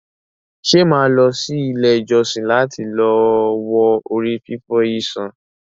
Ṣe mo ma lọ sí ilé ìjósìn lati lọ wo ori fifọ yìí sàn?